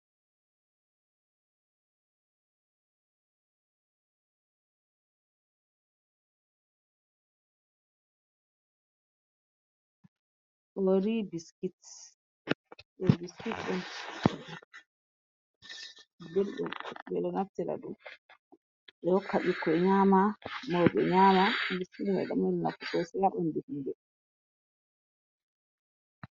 Ori biskits, ɗo biskit on ɗum ɓelɗum ɓe ɗo naftira ɗum ɓe hokka ɓikoi nyama mauɓe nyama biskit man ɗo mari nafu sosai ha ɓandu ɓingel.